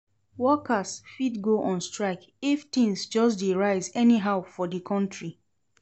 Worker fit go on strike if things just de rise anyhow for di counrty